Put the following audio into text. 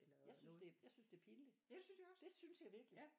Jeg synes det jeg synes det er pinligt. Det synes jeg virkelig